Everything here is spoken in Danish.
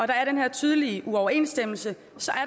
der er den her tydelige uoverensstemmelse